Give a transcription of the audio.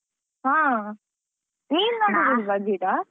ಹಾ ನೀನ್ ನಡುದಿಲ್ವಾ ಗಿಡಾ?